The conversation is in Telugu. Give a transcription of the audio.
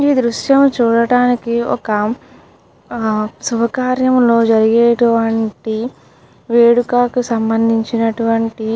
ఈ దృశ్యం చూడటానికి ఒక ఆ శుభకార్యంలో జరిగేటువంటి వేడుకకు సంబంధించినటువంటి.